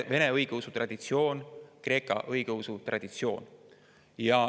On vene õigeusu traditsioon ja on kreeka õigeusu traditsioon.